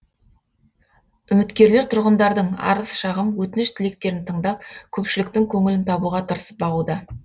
үміткерлер тұрғындардың арыз шағым өтініш тілектерін тыңдап көпшіліктің көңілін табуға тырысып бағуда